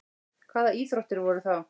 Hvaða íþróttir voru þá?